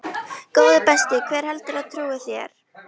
Góði besti, hver heldurðu að trúi þér?